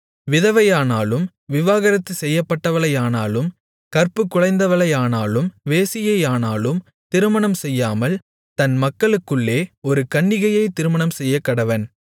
விதவையையானாலும் விவாகரத்து செய்யப்பட்டவளையானாலும் கற்புக்குலைந்தவளையானாலும் வேசியையானாலும் திருமணம்செய்யாமல் தன் மக்களுக்குள்ளே ஒரு கன்னிகையைத் திருமணம்செய்யக்கடவன்